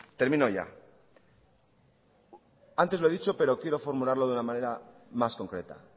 termino ya antes lo he dicho pero quiero formularlo de una manera más concreta